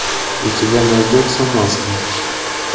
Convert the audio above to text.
у тебя найдется маска